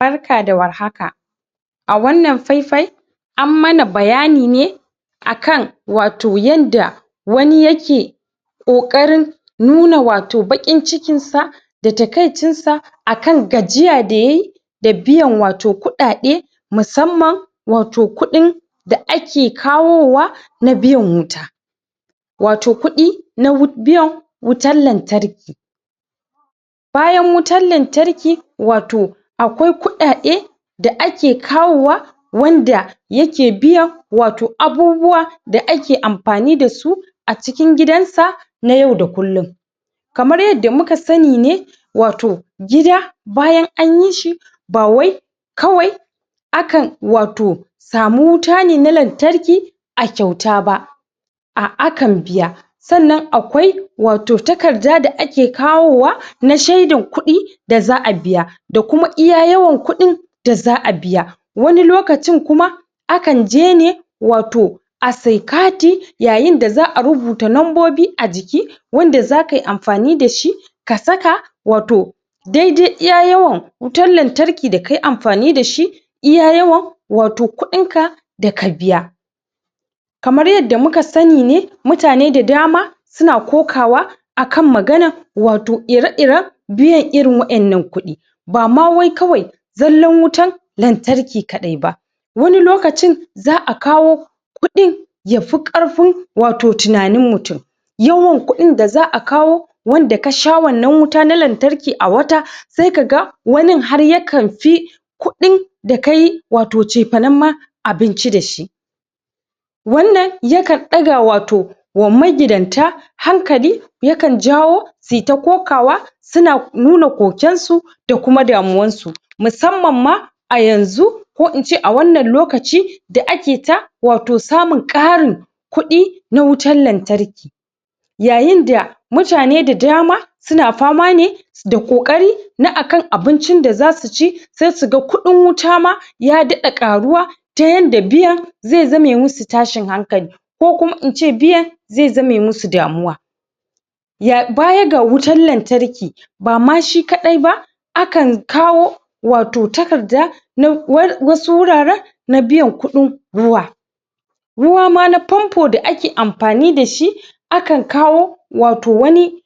Barka da warhaka! A wannan fai-fai an mana bayani ne akan wato yanda wani ya ke ƙoƙarin nuna wato baƙin cikin sa da takaicin sa akan gajiya da yayi da biyan wato kuɗaɗe musamman wato kuɗin da ake kawowa na biyan wuta. Wato kuɗi na wut biyan wutan lantarki. Bayan wutar lantarki, wato akwai kuɗaɗe da ake kawowa wanda ya ke biyan wato abubuwa da ake amfani da su a cikin gidan sa na yau da kullum. Kamar yadda muka sani ne wato gida bayan an yi shi ba wai kawai akan wato samu wuta ne lantarki a kyauta ba, a akan biya. Sannan akwai wato takarda da ake kawowa na shaidan kuɗi da za'a biya, da kuma iya yawan kuɗin da za'a biya. Wani lokacin kuma akan je ne, wato a siya kati yayin da za'a rubuta lambobi a jiki wanda za ka yi amfani da shi ka saka wato dai-dai iya yawan wutar lantarki da kai amfani da shi iya yawan wato kuɗin ka, da ka biya. Kamar yadda muka sani ne, mutane da dama su na kokawa akan maganar wato ire-iren biyan irin waƴannan kuɗi. Ba ma wai kawai zallar wutar lantarki kaɗai ba. Wani lokacin za'a kawo kuɗi yafi ƙarfin wato tunanin mutum. Yawan kuɗin da za'a kawo wanda kasha wannan wuta na lantarki a wata sai ka ga wanin har yakan fi kuɗi da kayi wato cefanen ma abinci da shi. Wannan yakan ɗaga wato wa magidanta hankali, yakan jawo su yi ta kokawa su na nuna koken su da kuma damuwan su. Musamman ma a yanzu ko in ce a wannan lokaci da ake ta wato samun ƙarin kuɗi na wutar lantarki. Yayin da mutane da dama su na fama ne da ƙoƙari na akan abincin da za su ci sai su ga kuɗin wuta ma ya daɗa ƙaruwa ta yanda biyan zai zame musu tashin hankali, ko kuma in ce biyan zai zame musu damuwa. Ya baya ga wutar lantarki ba ma shi kaɗai ba akan kawo wato takarda na wasu wuraren na biyan kuɗin ruwa. Ruwa ma na fanfo da ake amfani da shi akan kawo wato wani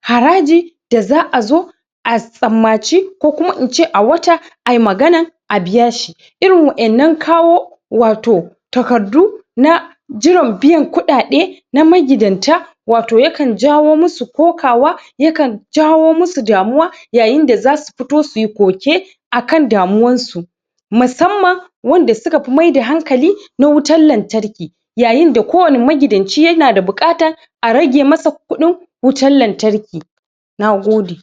haraji da za'a zo a tsammaci, ko kuma in ce a wata ayi magana a biya shi. Irin waƴannan kawo wato takardu na jiran biyan kuɗaɗe na magidanta wato yakan jawo musu kokawa, yakan jawo musu damuwa yayin da za su fito suyi koke akan damuwan su. Musamman wanda su ka fi maida hankali na wutar lantarki yayin da kowane magidanci ya na da buƙata a rage ma sa kuɗin wutar lantarki. Nagode!